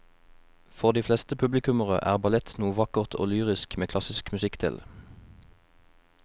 For de fleste publikummere er ballett noe vakkert og lyrisk med klassisk musikk til.